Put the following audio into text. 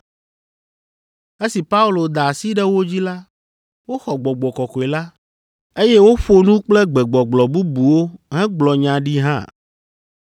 Esi Paulo da asi ɖe wo dzi la, woxɔ Gbɔgbɔ Kɔkɔe la, eye woƒo nu kple gbegbɔgblɔ bubuwo hegblɔ nya ɖi hã.